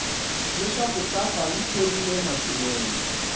leswaku safa yi thorile matsilele